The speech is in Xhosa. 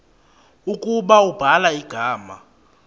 ukuba ubhala igama